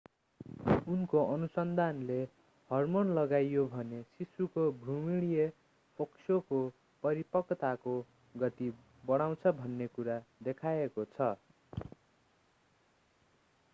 उनको अनुसन्धानले हर्मोन लगाइयो भने शिशुको भ्रूणीय फोक्सोको परिपक्वताको गति बढाउँछ भन्ने कुरा देखाएको छ